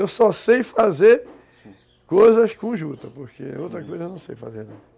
Eu só sei fazer coisas com juta, porque outra coisa eu não sei fazer não.